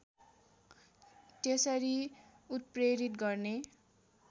त्यसरी उत्प्रेरित गर्ने